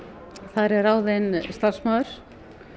það er ráðinn starfsmaður